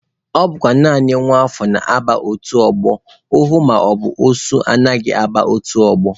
Ọ bụkwa naanị nwa afọ na-aba otu ọgbọ, ohu maọbụ osu anaghị aba otu ọgbọ.